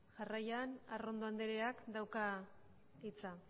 jarraian arrondo andreak dauka hitza